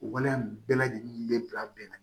O waleya in bɛɛ lajɛlen bɛ bila bɛn na